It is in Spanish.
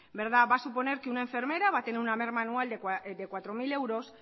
va a suponer que una enfermera va a tener una merma anual de cuatro mil euros